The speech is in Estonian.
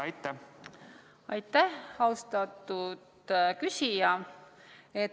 Aitäh, austatud küsija!